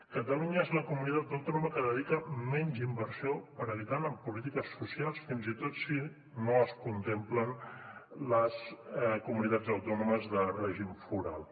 catalunya és la comunitat autònoma que dedica menys inversió per habitant en polítiques socials fins i tot si no es contemplen les comunitats autònomes de règim foral